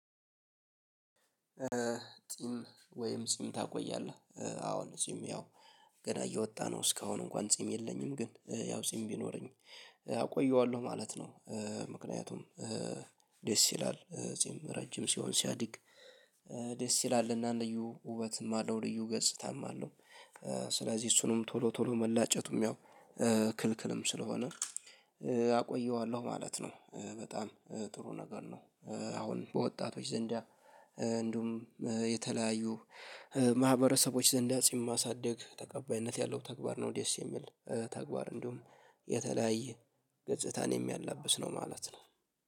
ጺም ወይም ጺም ታቆያለህ አሁን ጺም ያው ገና እየወጣ ነው እስካሁን እንኳን ጺም የለኝም ግን ያው ጺም ቢኖረኝ አቆየዋለሁ ማለት ነው። ምክንያቱም ደስ ይላል ጽም ረጅም ሲሆን ሲያድግ ደስ ይላል እና ልዩ ውበትም አለው ልዩ ገጽታም አለው። ስለዚህ እሱንም ቶሎ ቶሎ መላጨቱም ያው ክልክልም ስለሆነ አቆየዋለሁ ማለት ነው። በጣም ጥሩ ነገር ነው። አሁን በወጣቶች ዘንዳ እንደውም የተለያዩ ማህበረሰቦች ዘንዳ ጺም ማሳደግ ተቀባይነት ያለው ተግባር ነው። ደስ የሚል ተግባር እንዲሁም የተለያየ ገጽታን የሚያላብስ ነው ማለት ነው